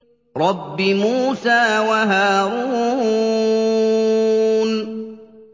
رَبِّ مُوسَىٰ وَهَارُونَ